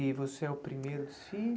E você é o primeiro dos